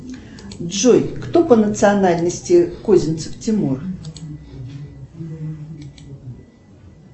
джой кто по национальности козинцев тимур